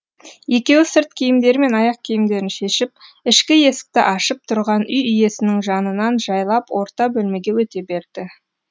екеуі сырт киімдері мен аяқ киімдерін шешіп ішкі есікті ашып тұрған үй иесінің жанынан жайлап орта бөлмеге өте берді